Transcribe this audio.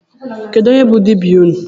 Kedu onye be dibịa unu?